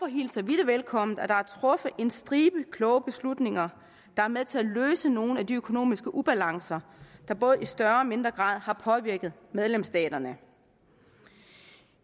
hilser vi det velkommen at der er truffet en stribe kloge beslutninger der er med til at løse nogle af de økonomiske ubalancer der både i større og mindre grad har påvirket medlemsstaterne